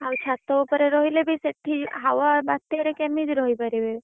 ଆଉ ଛାତ ଉପରେ ରହିଲେ ବି ସେଠି ହାୱା ବାତ୍ୟାରେ କେମିତି ରହିପାରିବେ।